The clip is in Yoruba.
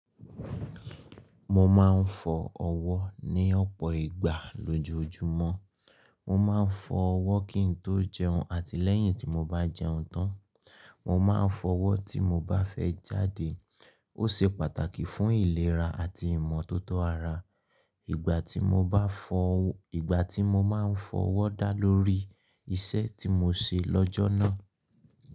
Mo máa ń fọ ọwọ́ ní ọ̀pọ̀ ìgbà lójoojúmọ́. Mo máa ń fọ ọwọ́ kí n tó jẹun àti lẹ́yìn tí mo bá jẹun tán. Mo máa ń fọ ọwọ́ tí mo bá fẹ́ jáde. Ó ṣe pàtàkì fún ìlera àti ìmọ́tótó ara. Ìgbà tí mo bá fọ, ìgbà tí mo máa ń fọ ọwọ́ dá lórí iṣẹ́ tí mo ṣe lọ́jọ́ náà.